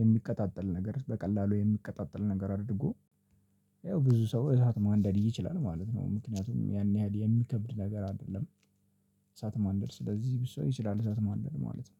የሚቀጣጠል ነገር በቀላሉ የሚቀጣጠል ነገር አድርጎ። ያው ብዙ ሰው እሳት ማንደድ ይችላል ማለት ነው። ምክንያቱም ያን ያህል የሚከብድ ነገር አይደለም። እሳት ማንደር ስለዚህ ብዙ ሰው ይችላል እሳት ማንደር ማለት ነው